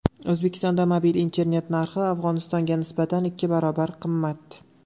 O‘zbekistonda mobil internet narxi Afg‘onistonga nisbatan ikki barobar qimmat.